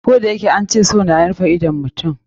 Koh da yake an ce so na rufe idon mutum.